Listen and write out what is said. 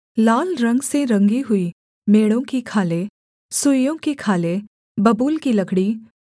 लाल रंग से रंगी हुई मेढ़ों की खालें सुइसों की खालें बबूल की लकड़ी